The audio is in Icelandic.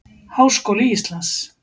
Háskóli Íslands.